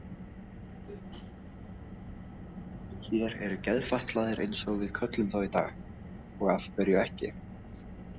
Hér eru geðfatlaðir eins og við köllum þá í dag og af hverju ekki?